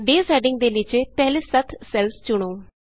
days heading ਦੇ ਨੀਚੇ ਪਹਿਲੇ ਸੱਤ ਸੈੱਲਸ ਚੁਣੋ